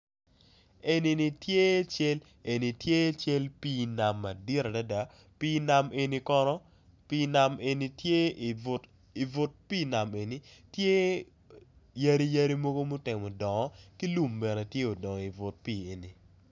Eni tye cal pi nam madit adada pi nam eni kono tye i but pi nam eni tye yadi yadi mutemo dongo ki lum bene tye odongo i but pi eni.